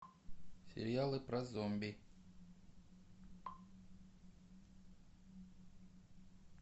сериалы про зомби